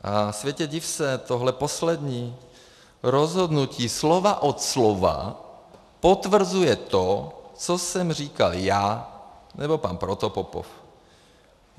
A světe div se, tohle poslední rozhodnutí slovo od slova potvrzuje to, co jsem říkal já nebo pan Protopopov.